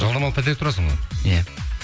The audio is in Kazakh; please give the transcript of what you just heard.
жалдамалы пәтерде тұрасың ғой иә